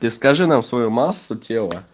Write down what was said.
расскажи нам свою массу тела